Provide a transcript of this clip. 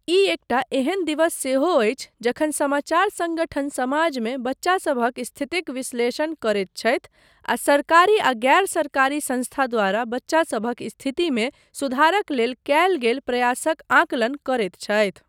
ई एकटा एहन दिवस सेहो अछि जखन समाचार सङ्गठन समाजमे बच्चा सभक स्थितिक विश्लेषण करैत छथि आ सरकारी आ गैर सरकारी संस्था द्वारा बच्चासभक स्थितिमे सुधारक लेल कयल गेल प्रयासक आकलन करैत छथि।